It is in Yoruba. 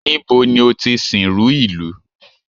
Níbo ni o ti sìnrú ìlú?